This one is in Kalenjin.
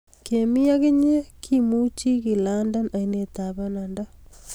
kemi ak inye kemuchi ke lande ainet ab bananda